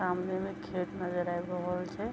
सामने में खेत नजर आव रहल छै।